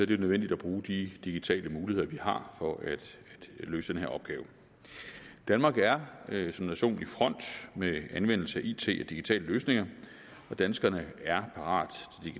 det nødvendigt at bruge de digitale muligheder vi har for at løse den her opgave danmark er som nation i front med anvendelse af it og digitale løsninger og danskerne er parate